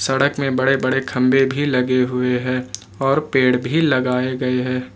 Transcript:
सड़क में बड़े बड़े खंभे भी लगे हुए हैं और पेड़ भी लगाए गए हैं।